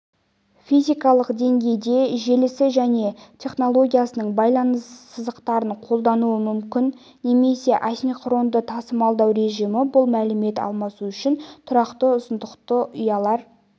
физикалық деңгейде желісі және технологиясының байланыс сызықтарын қолдануы мүмкін немесе асинхронды тасымалдау режимі бұл мәлімет алмасу үшін тұрақты ұзындықты ұялар